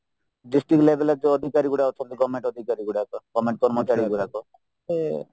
district level ଯୋଉ ଅଧିକାରୀ ଅଛନ୍ତି government ଅଧିକାରୀ ଗୁଡାକ government କର୍ମଚାରୀ ଗୁଡାକ ସେ